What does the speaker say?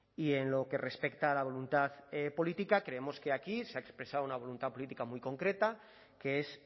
y en lo que respecta a la voluntad política creemos que aquí se ha expresado una voluntad política muy concreta que es